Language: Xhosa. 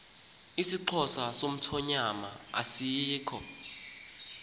isixhosa somthonyama asikho